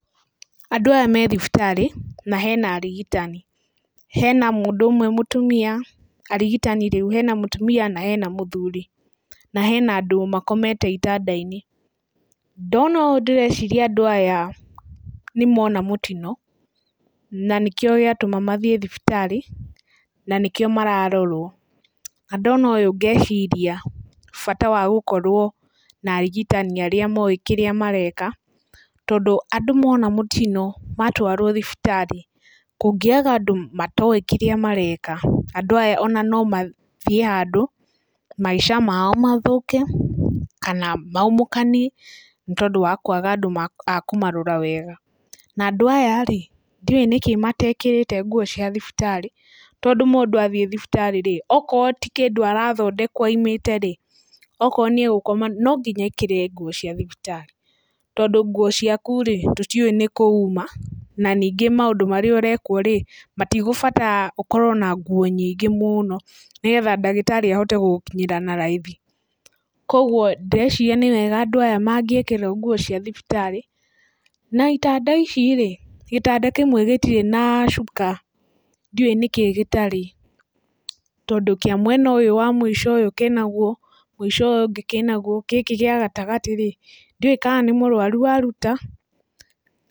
Andũ aya me thibitarĩ na hena arigitani, hena mũndũ ũmwe mũtumia, arigitani rĩu, hena mũtumia na hena mũthuri na hena andũ ma komete itanda-inĩ. Ndona ũ ndĩreciri andũ aya nĩ mona mũtino na nĩkĩo gĩatuma mathiĩ thibitarĩ na nĩkĩo mararorũo na ndona ũ ngeciria bata wa gũkorwo na arigitani arĩa moĩ kĩrĩa mareka tondũ andũ mona mũtino matũarũo thibitarĩ, kũngĩaga andũ matoĩ kĩrĩa mareka andũ aya ona no mathiĩ handũ maica mao mathũke kana maumũkani tondũ wa kũaga andũ a kũmarora wega. Na andũ aya-rĩ ndĩũ nĩkĩ matekĩrĩte nguo cia thibitarĩ tondũ mũndũ athiĩ thibitarĩ-rĩ, okorũo ti kĩndũ arathondekwo oimĩte-rĩ, okorũo nĩ gũkoma nonginya ekĩre nguo cia thibitarĩ tondũ nguo ciaku-rĩ tũtiũĩ nĩkũ uma na ningĩ maũndũ marĩa ũrekũo-rĩ matigũbatara ũkorũo na nguo nyingĩ mũno nĩgetha ndagitarĩ ahote gũgũkinyĩra na raithi. Koguo, ndĩreciria nĩwega andũ aya mangĩkĩrũo nguo cia thibitarĩ. Na itanda ici-rĩ, gĩtanda kĩmwe gĩtirĩ na cuka, ndiũĩ nĩkĩ gĩtarĩ tondũ kĩa mwena ũyũ wa mũico ũyũ kĩnagũo, mũico ũyũ ũngĩ kĩnagũo, gĩkĩ kĩa gatagatĩ-rĩ ndiũĩ kana nĩ mũrũaru waruta?